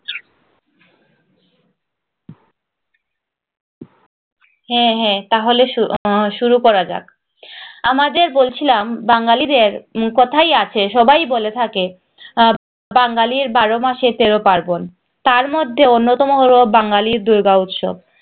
হ্যাঁ হ্যাঁ তাহলে শুরু শুরু করা যাক আমাদের বলছিলাম বাঙালিদের কথায় আছে সবাই বলে থাকে আহ বাঙালি বারো মাসে তেরো পার্বন তার মধ্যে অন্যতম হলো বাঙ্গালী র দূর্গা উৎসব